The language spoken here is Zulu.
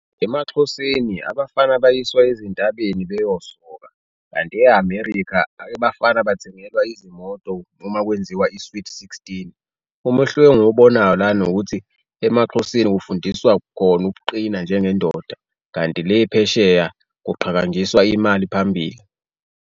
EmaXhoseni abafana bayiswa ezintabeni beyosoka kanti e-America abafana bathengelwa izimoto uma kwenziwa i-sweet sixteen. Umehluko engiwubonayo lana ukuthi emaXhoseni kufundiswa khona ukuqina njengendoda kanti le phesheya kuqhakangiswa imali phambili.